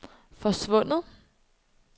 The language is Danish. forsvundet